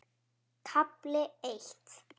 KAFLI EITT